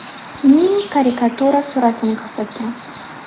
)ning karikatura suratini ko‘rsatgan.